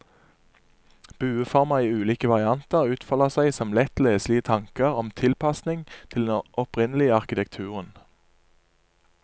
Bueformer i ulike varianter utfolder seg som lett leselige tanker om tilpasning til den opprinnelige arkitekturen.